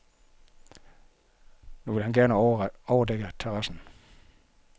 Nu vil han gerne overdække terrassen.